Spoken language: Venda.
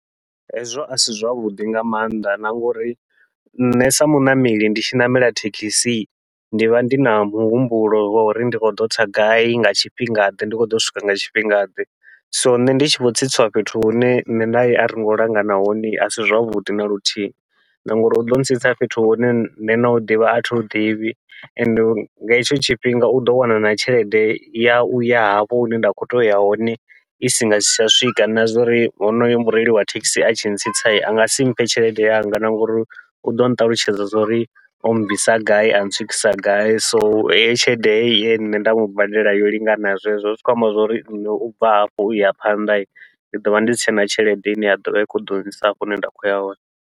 Hezwo asi zwavhuḓi nga maanḓa na ngouri nṋe sa muṋameli ndi tshi ṋamela thekhisi ndi vha ndi na muhumbulo wa uri ndi khou ḓo tsa gai nga tshifhinga ḓe ndi khou ḓo swika nga tshifhinga ḓe, so nṋe ndi tshi vho tsitsiwa fhethu hune nṋe nae aringo langana hone asi zwavhuḓi naluthihi na ngauri uḓo ntsitsa fhethu hune nṋe nau ḓivha athi hu ḓivhi ende nga hetsho tshifhinga uḓo wana na tshelede ya uya hafho hune nda khou to uya hone isi ngasi tsha swika na zwa uri honoyo mureili wa thekhisi a tshi ntsitsa angasi mphe tshelede yanga, na ngauri uḓo nṱalutshedza zwa uri o bvisa gai a ntswikisa gai. So heyo tshelede heyi ye nṋe nda mubadela yo lingana zwezwo, zwi khou amba zwa uri nṋe u bva hafho uya phanḓa ndi ḓovha ndi si tshena tshelede ine ya ḓovha i khou ḓo nyisa hafho hune nda khou ya hone.